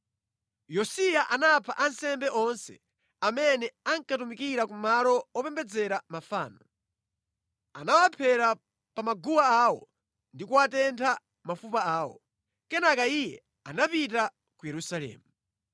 Yosiya anapha ansembe onse amene ankatumikira ku malo opembedzera mafano, anawaphera pa maguwa awo ndi kutentha mafupa awo. Kenaka iye anapita ku Yerusalemu.